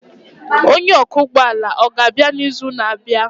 Onye ọkwọ ụgbọ ala ọ ga-abịa n'izu na-abịa?